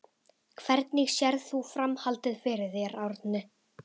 Hvernig sérð þú framhaldið fyrir þér Árni?